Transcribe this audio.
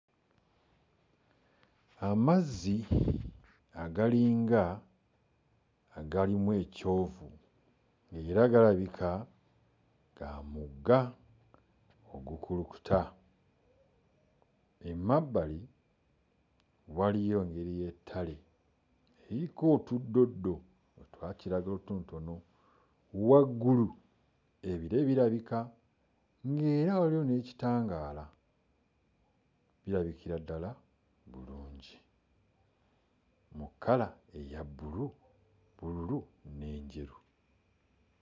Amazzi agalinga agalimu ekyovu ng'era galabika ga mugga ogukulukuta, emabbali waliyo engeri y'ettale liriko otuddoddo otwa kiragala otutonotono, waggulu ebire birabika ng'era waliyo n'ekitangaala, lirabikira ddala bulungi mu kkala eya bbulu bbululu n'enjeru.